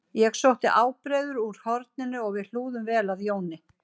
Ég sótti ábreiður úr horninu og við hlúðum vel að Jóni